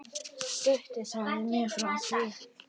Gutti sagði mér frá því.